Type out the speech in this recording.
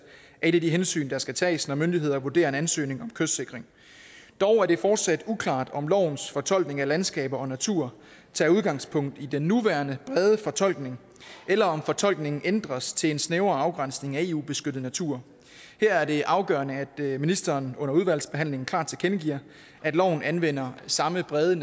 er nogle af de hensyn der skal tages når myndigheder vurderer en ansøgning om kystsikring dog er det fortsat uklart om lovens fortolkning af landskaber og natur tager udgangspunkt i den nuværende brede fortolkning eller om fortolkningen ændres til en snævrere afgrænsning af eu beskyttet natur her er det afgørende at ministeren under udvalgsbehandlingen klart tilkendegiver at loven anvender samme brede